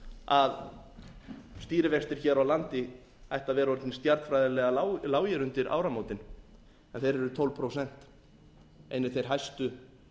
að stýrivextir hér á landi ættu að vera orðnir stjarnfræðilega lágir undir áramótin en þeir eru tólf prósent einir þeir hæstu